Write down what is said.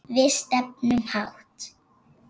Við stefnum hátt.